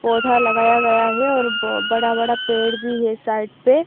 पौधा लगाया गया है और बड़ा बड़ा पेड़ भी है साइट पे--